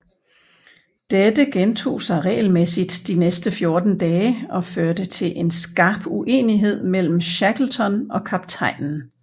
Dette gentog sig regelmæssigt de næste fjorten dage og førte til en skarp uenighed mellem Shackleton og kaptajnen